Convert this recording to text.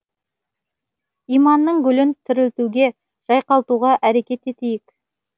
иманның гүлін тірілтуге жайқалтуға әрекет етейік